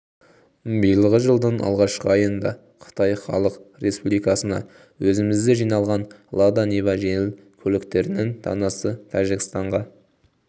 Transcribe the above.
биылғы жылдың алғашқы айында қытай іалық республикасына өзімізде жиналған лада нива жеңіл көліктерінің данасы тәжікстанға